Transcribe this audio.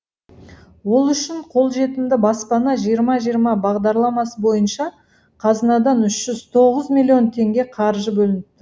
ол үшін қолжетімді баспана жиырма жиырма бағдарламасы бойынша қазынадан үш жүз тоғыз миллион теңге қаржы бөлініп